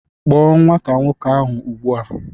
Kpọọ nwata nwoke ahụ ugbu a